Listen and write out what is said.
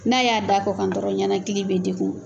N'a y'a da a kɔ kan dɔrɔnw, ɲɛnakili bɛ dekun.